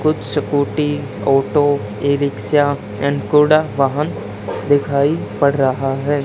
कुछ scooty auto e rickshaw and कोड़ा वाहन दिखाई पड़ रहा है।